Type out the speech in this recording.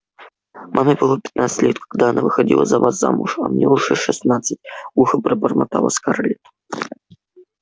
маме было пятнадцать лет когда она выходила за вас замуж а мне уже шестнадцать глухо пробормотала скарлетт